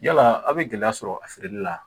Yala aw bɛ gɛlɛya sɔrɔ a feereli la